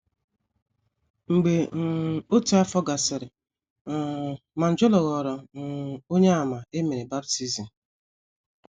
Mgbe um otu afọ gasịrị um, Manjola ghọrọ um Onyeàmà e mere baptism.